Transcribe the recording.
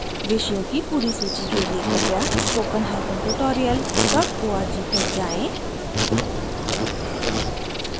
विषयों की पूरी सूची के लिए कृपया